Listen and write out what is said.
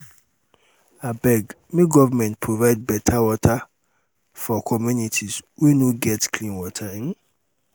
um abeg make government provide beta water for um communities wey no get .clean water um